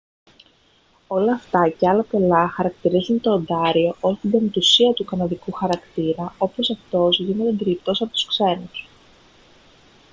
όλα αυτά και άλλα πολλά χαρακτηρίζουν το οντάριο ως την πεμπτουσία του καναδικού χαρακτήρα όπως αυτός γίνεται αντιληπτός από τους ξένους